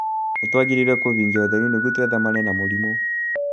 Nĩ twagĩrĩirũo kũiga ũtheru nĩguo twĩtheme na mĩrimũ.